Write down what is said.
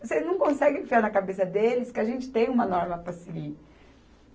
Você não consegue enfiar na cabeça deles que a gente tem uma norma para seguir.